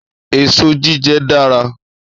Èso jíjẹ dára.